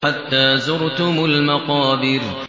حَتَّىٰ زُرْتُمُ الْمَقَابِرَ